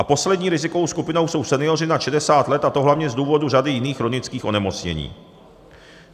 A poslední rizikovou skupinou jsou senioři nad 60 let, a to hlavně z důvodu řady jiných chronických onemocnění.